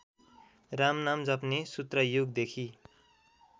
रामनाम जप्ने सूत्रयुगदेखि